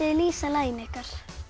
lýsa laginu ykkar